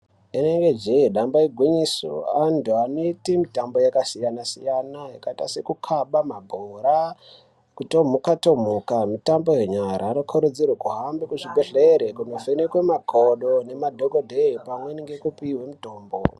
Derevedzee, damba igwinyiso antu anoite mitambo yakasiyana siyana yakaita sekukaba mabhoraa, kutomhuka tomhuka, mitambo yenyara vanokurudzirwee kuti vahambe muzvibhedhlere kovhenekwe makodo nemadhokodheyaa pamwe nekupihwe mitombo.